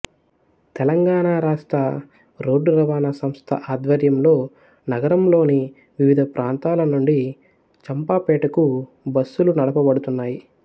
తెలంగాణ రాష్ట్ర రోడ్డు రవాణా సంస్థ ఆధ్వర్యంలో నగరంలోని వివిధ ప్రాంతాల నుండి చంపాపేటకు బస్సులు నడుపబడుతున్నాయి